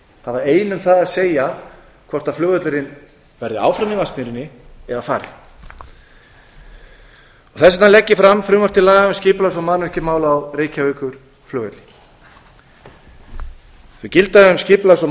hafa ein um það að segja hvort flugvöllurinn verði áfram í vatnsmýrinni eða fari þess vegna legg ég fram frumvarp til laga um skipulags og mannvirkjamál á reykjavíkurflugvelli þau gilda um skipulags og